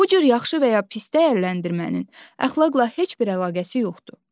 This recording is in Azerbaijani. Bu cür yaxşı və ya pis dəyərləndirmənin əxlaqla heç bir əlaqəsi yoxdur.